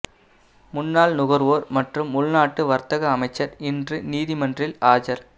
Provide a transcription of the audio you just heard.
முன்னாள் நுகர்வோர் மற்றும் உள்நாட்டு வர்த்தக அமைச்சர் இன்று நீதிமன்றில் ஆஜர்